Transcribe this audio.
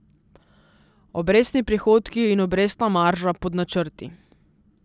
Obrestni prihodki in obrestna marža pod načrti.